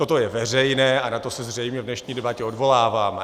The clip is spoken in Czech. Toto je veřejné a na to se zřejmě v dnešní debatě odvoláváme.